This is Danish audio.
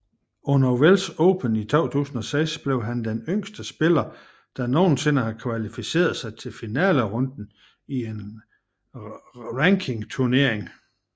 Under Welsh Open i 2006 blev han den yngste spiller der nogensinde har kvalificeret sig til finalerunden i en rankingturnering